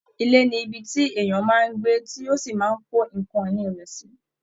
Ilé ni ibi tí èèyàn máa ń gbé tí ó sì máa ń kó nǹkan ìni rẹ̀ sí